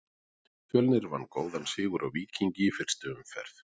Fjölnir vann góðan sigur á Víkingi í fyrstu umferð.